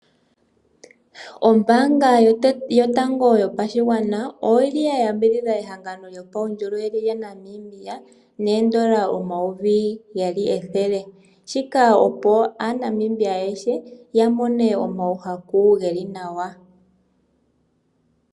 Ombaanga yotango yopashigwana oyili ya yambidhidha ehangano lyuundjolowele lyaNamibia noondola omayovi geli ethele, shike opo aanamibia ayehe ya mone omayakulo ge li nawa.